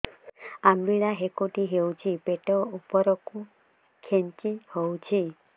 ଅମ୍ବିଳା ହେକୁଟୀ ହେଉଛି ପେଟ ଉପରକୁ ଖେଞ୍ଚି ହଉଚି